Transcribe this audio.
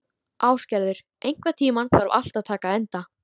Ásgerður, einhvern tímann þarf allt að taka enda.